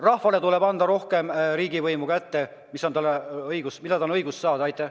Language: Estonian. Rahvale tuleb rohkem riigivõimu kätte anda, tal on õigus seda saada.